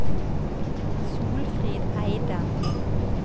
Solfrid Eidem